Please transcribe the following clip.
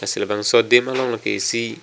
abangso adim along ke isi --